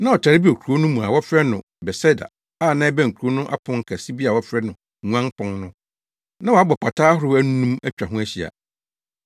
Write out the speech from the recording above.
Na ɔtare bi wɔ kurow no mu a wɔfrɛ no Betseda a na ɛbɛn kurow no ano pon kɛse bi a wɔfrɛ no Nguan Pon no. Na wɔabɔ pata ahorow anum atwa ho ahyia.